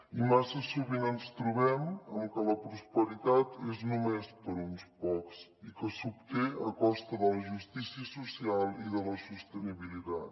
i massa sovint ens trobem amb que la prosperitat és només per a uns pocs i que s’obté a costa de la justícia social i de la sostenibilitat